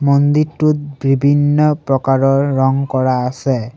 মন্দিৰটোত বিভিন্ন প্ৰকাৰৰ ৰং কৰা আছে।